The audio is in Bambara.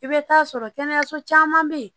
I bɛ taa sɔrɔ kɛnɛyaso caman bɛ yen